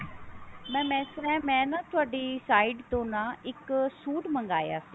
mam ਇਸ ਤਰ੍ਹਾ ਹੈ ਮੈਂ ਤੁਹਾਡੀ site ਤੋਂ ਨਾ ਇੱਕ suit ਮਗਾਇਆ ਸੀ